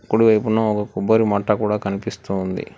కుడివైపున ఒక కొబ్బరి మట్ట కూడా కనిపిస్తూ ఉంది.